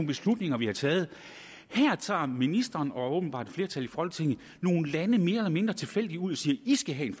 beslutninger vi har taget her tager ministeren og åbenbart et flertal i folketinget nogle lande mere eller mindre tilfældigt ud og siger i skal have en